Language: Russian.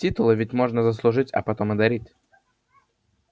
титулы ведь можно заслужить а потом и дарить